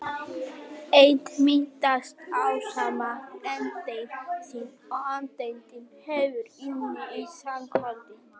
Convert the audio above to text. Eind myndast ásamt andeind sinni og andeindin hverfur inn í svartholið.